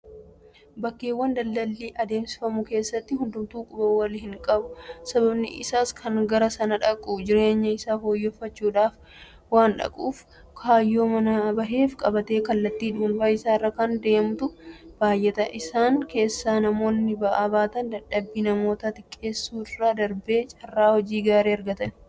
Bakkeewwan daldalli adeemsifamu keessatti hundumtuu quba walhinqabu. sababni isaas kan gara sana dhaqu jireenya isaa fooyyeffachuudhaaf waandhaquuf kaayyoo manaa baheef qabatee kallattii dhuunfaa isaarra kan deemutu baay'ata. Isaan keessaa namoonni ba'aa baatan dadhabbii namootaa xiqqeessuu irra darbee carraa hojii gaarii argatanii jiru.